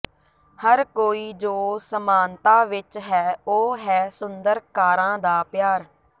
ਹਰ ਕੋਈ ਜੋ ਸਮਾਨਤਾ ਵਿੱਚ ਹੈ ਉਹ ਹੈ ਸੁੰਦਰ ਕਾਰਾਂ ਦਾ ਪਿਆਰ